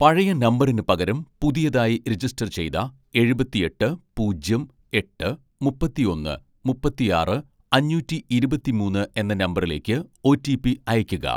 പഴയ നമ്പറിന് പകരം പുതിയതായി രജിസ്റ്റർ ചെയ്ത എഴുപത്തിയെട്ട് പൂജ്യം എട്ട് മുപ്പത്തിയൊന്ന് മുപ്പത്തിയാറ് അഞ്ഞൂറ്റി ഇരുപത്തി മൂന്ന് എന്ന നമ്പറിലേക്ക് ഒ.റ്റി.പി അയയ്ക്കുക